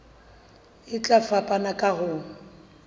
e tla fapana ka ho